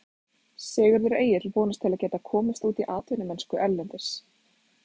Sigurður Egill vonast til að geta komist út í atvinnumennsku erlendis.